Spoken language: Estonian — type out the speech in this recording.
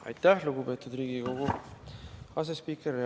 Aitäh, lugupeetud Riigikogu asespiiker!